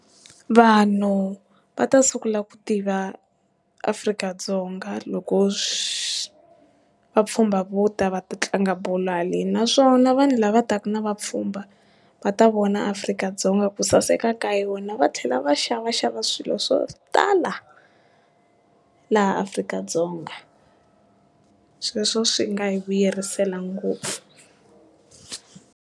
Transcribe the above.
Vanhu va ta sungula ku tiva Afrika-Dzonga loko vapfhumba vo ta va ta tlanga bolo haleni naswona vanhu lava taka na vapfhumba va ta vona Afrika-Dzonga ku saseka ka yona, va tlhela va xava xava swilo swo tala laha Afrika-Dzonga sweswo swi nga hi vuyerisa ngopfu.